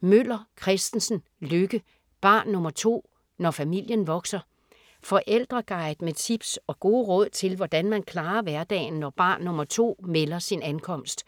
Møller Kristensen, Lykke: Barn nr. 2: når familien vokser Forældreguide med tips og gode råd til hvordan man klarer hverdagen når barn nr. 2 melder sin ankomst.